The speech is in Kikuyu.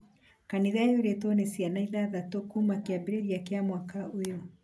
kanitha yurĩtwo nĩ ciana ithathatũ kuuma kĩambĩrĩiria kĩa mwaka ũyũ